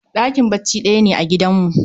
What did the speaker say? Ɗakin bacci ɗaya ne a gidanmu